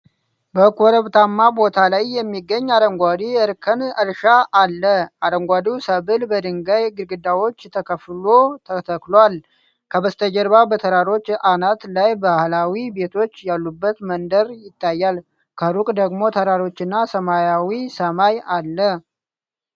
በኮረብታማ ቦታ ላይ የሚገኝ አረንጓዴ የእርከን እርሻ አለ። አረንጓዴው ሰብል በድንጋይ ግድግዳዎች ተከፍሎ ተተክሏል። ከበስተጀርባ በተራሮች አናት ላይ ባህላዊ ቤቶች ያሉበት መንደር ይታያል። ከሩቅ ደግሞ ተራሮችና ሰማያዊ ሰማይ አለ።